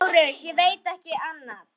LÁRUS: Ég veit ekki annað.